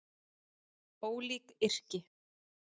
Ólík yrki